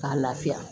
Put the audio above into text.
K'a lafiya